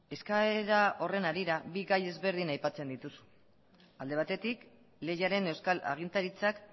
eskaera horren harira bi gai ezberdin aipatzen dituzu alde batetik lehiaren euskal agintaritzak